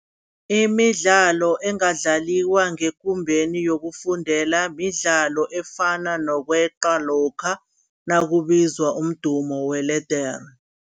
Imidlalo engadlaliwa ngekumbeni yokufundela midlalo efana nokweqa lokha nakubizwa umdumo weledere.